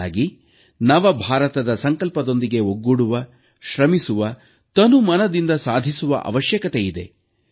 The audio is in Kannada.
ಬದಲಾಗಿ ನವ ಭಾರತದ ಸಂಕಲ್ಪದೊಂದಿಗೆ ಒಗ್ಗೂಡುವ ಶ್ರಮಿಸುವ ತನುಮನದಿಂದ ಸಾಧಿಸುವ ಅವಶ್ಯಕತೆಯಿದೆ